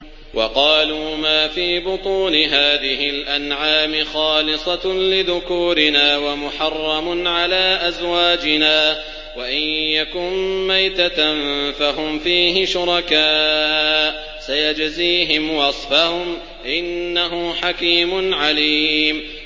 وَقَالُوا مَا فِي بُطُونِ هَٰذِهِ الْأَنْعَامِ خَالِصَةٌ لِّذُكُورِنَا وَمُحَرَّمٌ عَلَىٰ أَزْوَاجِنَا ۖ وَإِن يَكُن مَّيْتَةً فَهُمْ فِيهِ شُرَكَاءُ ۚ سَيَجْزِيهِمْ وَصْفَهُمْ ۚ إِنَّهُ حَكِيمٌ عَلِيمٌ